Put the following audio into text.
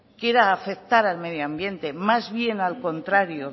quiera afectar al medio ambiente más bien al contrario